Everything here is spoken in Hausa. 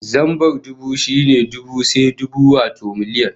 Zambar dubu shine dubu sai dubu, wato miliyan